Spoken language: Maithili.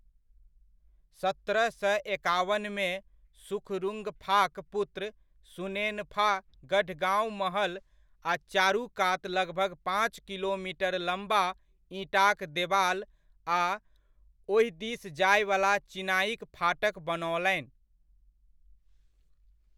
सत्रह सय एकावनमे सुखरुंगफाक पुत्र सुनेनफा गढ़गाँव महल आ चारू कात लगभग पाँच किलोमीटर लम्बा ईंटाक देबाल आ ओहि दिस जायवला चिनाइक फाटक बनओलनि।